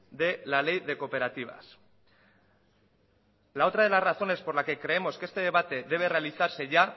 de la ley de cooperativas la otra de las razones por la que creemos que este debate debe realizarse ya